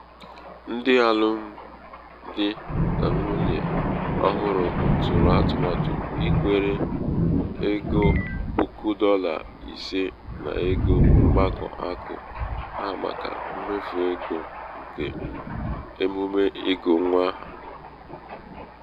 ndị alụmdi n nwunye n nwunye ọhụrụ tụrụ atụmatụ ikwere egoppuku dọla ise n'ego mkpakọ akụ ha màkà mmefu ego nke emume ịgụ nwa aha.